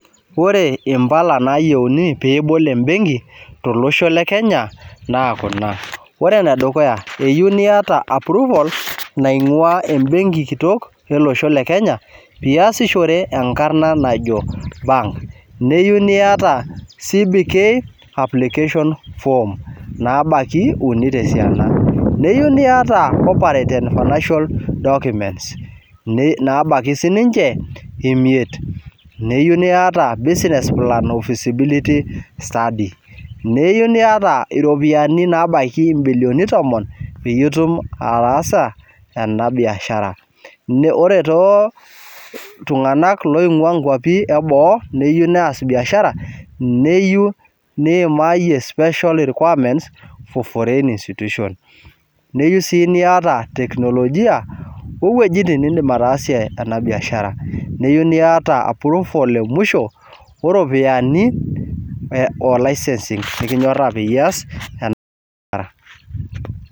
Ore impala nayieuni peebol embenki tolosho le kenya naa kuna ore enedukuya eyieu niyata approval naing'ua ebenki kitok ele osho le kenya piyasishore enkarna najo bank niyieu niyata CBK application form nabaki uni tesiana neyiu niyata corporate and financial documents nabaki sininche imiet neyiu niyata business plan o fiscibility study neyieu iropiani nabaiki imbilioni tomon peyie itum ataasa ena biashara ne ore tooltung'anak loing'ua nkuapi eboo neyieu neas biashara neyu niimayie special requirements for foreign institutions neyieu sii niyata teknolojia wowuejitin nindim ena biashara neyieu niyata approval emusho oropiyani e o licensing nikinyorra peyie iya ena biashara.